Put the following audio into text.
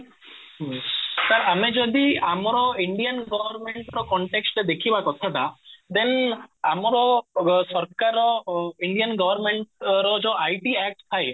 ହୁଁ ତ ଆମେ ଯଦି ଆମର ଇଣ୍ଡିଆନ government ର context ରେ ଦେଖିବା କଥାଟା then ଆମର ସରକାର ର ଇଣ୍ଡିଆନ government ର ଯୋଉ ITact ଥାଏ